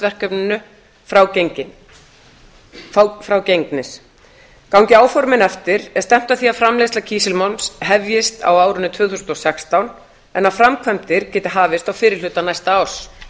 verkefninu frágengnir gangi áformin eftir er stefnt að því að framleiðsla kísilmálms hefjist á árinu tvö þúsund og sextán en að framkvæmdir geti hafist á fyrri hluta næsta árs